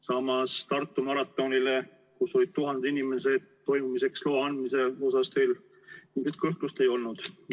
Samas Tartu maratonile, kus olid tuhanded inimesed, toimumise loa andmise puhul teil mingit kõhklust ei olnud.